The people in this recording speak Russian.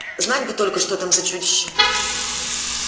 знать бы только что там за чудище